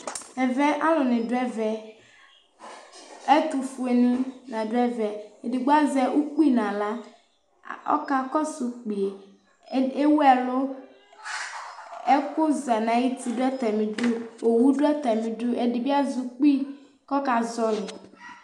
ɛvẽ alũ ni duevɛ ɛtũ fue ni la dũevɛ edigbo azɛ ũkpi na yla a ɔka kɔsũ ukpie ed éwũelũ ɛkũ za nayuti dũ atamidũ owũ du atamidu edibi azɛ ukpi kɔka zɔli